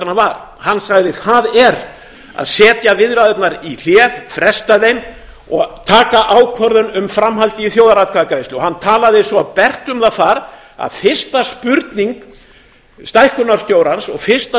var hann sagði það er að setja viðræðurnar í hlé fresta þeim og taka ákvörðun um framhaldið í þjóðaratkvæðagreiðslu hann talaði svo bert um það þar að fyrsta spurning stækkunarstjórans og fyrsta